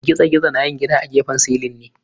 Girgizo na yin gida a gefen silin ne.